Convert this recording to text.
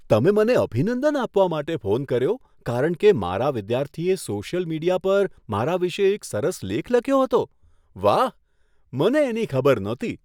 તમે મને અભિનંદન આપવા માટે ફોન કર્યો કારણ કે મારા વિદ્યાર્થીએ સોશિયલ મીડિયા પર મારા વિશે એક સરસ લેખ લખ્યો હતો? વાહ, મને એની ખબર નહોતી.